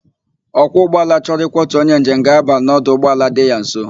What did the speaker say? Ọkwọ ụgbọala chọrọ ịkwọtu onye njem ga-aba n' ọdụ ụgbọala dị ya nso.